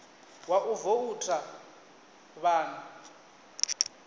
wa u voutha vha ḓo